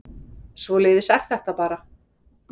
Svoleiðis er þetta bara